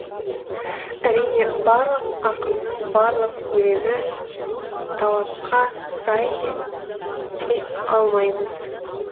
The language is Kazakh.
әрине барлық ақынның барлық өлеңі талапқа сай дей алмаймыз